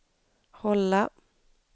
hålla